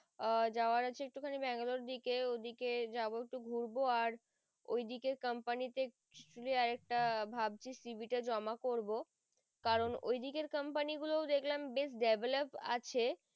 আহ জায়োর আছে Bangalore এর দিকে ওদিকে যাবো একটু ঘুরবো আর ওই দিকে company তে ভাবছি CB টা জমা করবো কারণ ওই দিকের company গুলো দেখলাম বেশ develop আছে